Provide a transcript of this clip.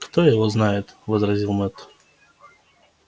кто его знает возразил мэтт